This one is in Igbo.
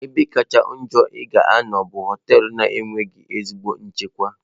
Ebe kacha njọ ị ga-anọ bụ họtelụ na-enweghị ezigbo nchekwa.